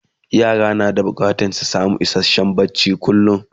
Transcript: yara na da bukatan su samu isasshen barci kullum